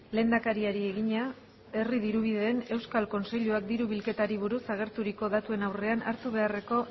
lehendakariari egina herri dirubideen euskal kontseiluak diru bilketari buruz agerturiko datuen aurrean hartu beharreko